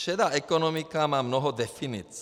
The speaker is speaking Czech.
Šedá ekonomika má mnoho definic.